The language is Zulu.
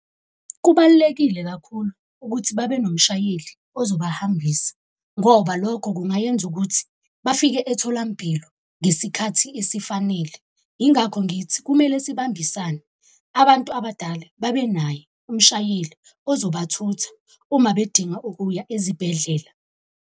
Kubalulekile kakhulu ukuthi babe nomshayeli ozoba hambisa, ngoba lokho kungayenza ukuthi bafike etholampilo ngesikhathi esifanele. Yingakho ngithi kumele sibambisane. Abantu abadala babe naye umshayeli ozobathutha uma bedinga ukuya ezibhedlela.